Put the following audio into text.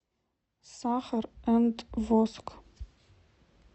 сахар энд воск